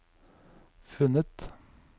funnet